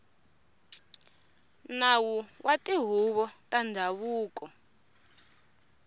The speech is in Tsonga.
nawu wa tihuvo ta ndhavuko